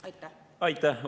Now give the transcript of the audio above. Aitäh!